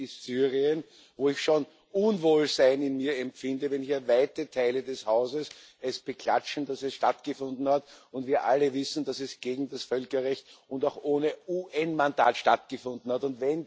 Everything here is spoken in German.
Der erste ist Syrien, wo ich schon Unwohlsein in mir empfinde, wenn hier weite Teile des Hauses beklatschen, dass es stattgefunden hat, und wir alle wissen, dass es gegen das Völkerrecht und auch ohne UN Mandat stattgefunden hat.